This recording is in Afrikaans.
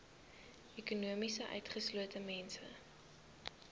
ekonomies utgeslote mense